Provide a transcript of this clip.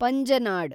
Panjnad